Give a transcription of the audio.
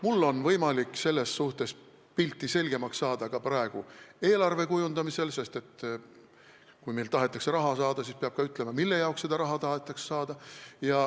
Mul on võimalik pilti selgemaks saada ka praegu eelarve kujundamisel, sest kui meilt tahetakse raha saada, siis peab ka ütlema, mille jaoks seda raha tahetakse.